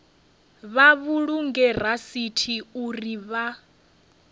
vha vhulunge rasithi uri vha